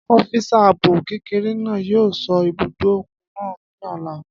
Ọ́físà ààbò kékeré náà yóò sọ́ ibùdó òkun náà ní ọ̀la